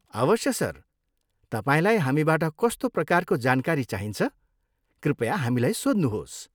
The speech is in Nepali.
अवश्य, सर! तपाईँलाई हामीबाट कस्तो प्रकारको जानकारी चाहिन्छ कृपया हामीलाई सोध्नुहोस्।